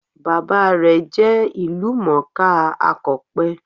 Bàbá rè jẹ́ ìlú mòó ká akọ̀pe